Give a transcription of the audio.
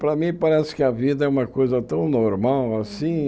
Para mim, parece que a vida é uma coisa tão normal, assim.